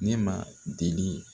Ne ma deli